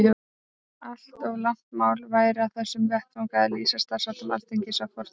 Allt of langt mál væri á þessum vettvangi að lýsa starfsháttum Alþingis að fornu.